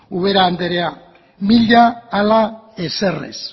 ubera andrea mila ala ezer ez